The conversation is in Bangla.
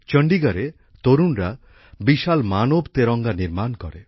চণ্ডীগড়ে তরুণরা বিশাল মানব তেরঙ্গা নির্মাণ করে